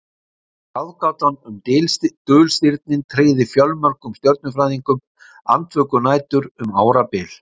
Ráðgátan um dulstirnin tryggði fjölmörgum stjörnufræðingum andvökunætur um árabil.